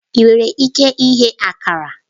Ị nwere ike ighe Akara?